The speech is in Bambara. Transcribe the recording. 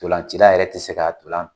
Ndolancila yɛrɛ tɛ se k'a dila.